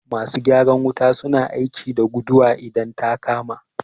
Masu gyaran wuta su na aiki da guduwa idan ta kama